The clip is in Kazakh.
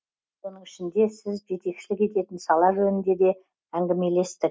соның ішінде сіз жетекшілік ететін сала жөнінде де әңгімелестік